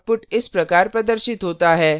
output इस प्रकार प्रदर्शित होता है